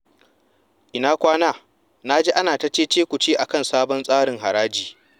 Ina kwana? Na ji ana ta ce-ce-ku-ce akan sabon tsarin haraji.